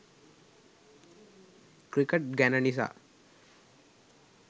cricket ගැන නිසා